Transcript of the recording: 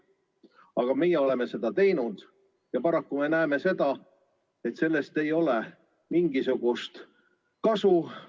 Aga meie oleme sedasi teinud ja paraku me näeme, et sellest ei ole mingisugust kasu.